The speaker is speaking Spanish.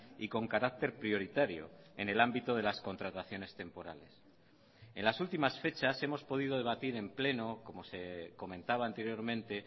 y con carácter prioritario en el ámbito de las contrataciones temporales en las últimas fechas hemos podido debatir en pleno como se comentaba anteriormente